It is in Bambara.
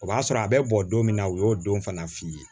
O b'a sɔrɔ a bɛ bɔ don min na u y'o don fana f'i ye